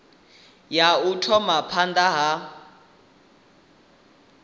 ya u thoma phanda ha